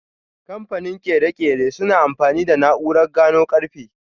Kamfanin ƙere-ƙere suna amfani da na'urar gano karfe.